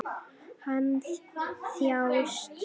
Hann þjáist.